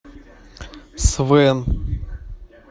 свен